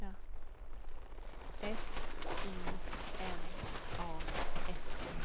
S Y N A S